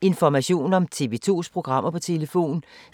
Information om TV 2's programmer: